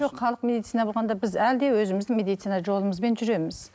жоқ халық медицина болғанда біз әлі де өзіміздің медицина жолымызбен жүреміз